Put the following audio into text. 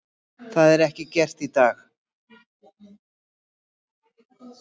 Það er ekki gert í dag.